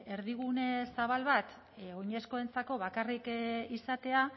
erdigune zabal bat oinezkoentzako bakarrik izatea